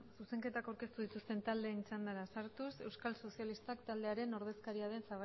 zuzenketak aurkeztu dituzten taldeen txandara sartuz euskal sozialistak taldearen ordezkaria den